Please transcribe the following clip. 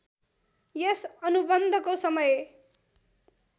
यस अनुबन्धको समय